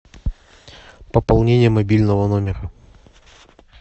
пополнение мобильного номера